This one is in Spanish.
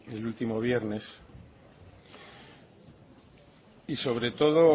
el último viernes y sobre todo